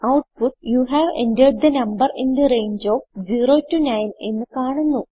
output you have entered the number in the range of 0 9 എന്ന് കാണുന്നു